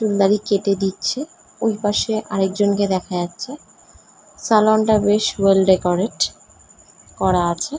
দাড়ি কেটে দিচ্ছে ওই পাশে আরেকজনকে দেখা যাচ্ছে স্যালুন টা বেশ অয়েল ডেকোরেট করা আছে ।